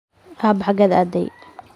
Aabbe xagee aaday?